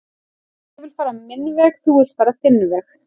ég vill fara minn veg þú villt fara þinn veg